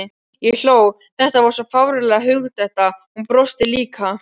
Ég hló, þetta var svo fáránleg hugdetta, hún brosti líka.